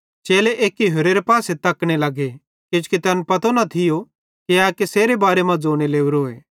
चेले एक्की होरेरे पासे तकने लगे किजोकि तैन पतो न थियो कि ए केसेरे बारे मां ज़ोने लोरोए